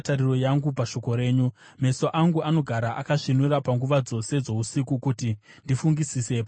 Meso angu anogara akasvinura panguva dzose dzousiku, kuti ndifungisise pamusoro pevimbiso dzenyu.